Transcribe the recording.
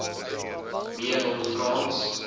me ron frans